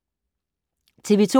TV 2